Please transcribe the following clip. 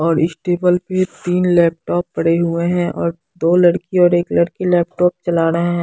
और इस टेबल पे तीन लैपटॉप पड़े हुए हैं और दो लड़की और एक लड़की लैपटॉप चला रहे हैं।